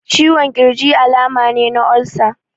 Ciwon ƙirji alama ne na olsa.